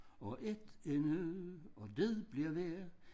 Og et endnu og det bliver ved